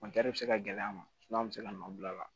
bɛ se ka gɛlɛya ma sumu bɛ se ka nɔ bila a la